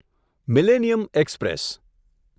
millennium express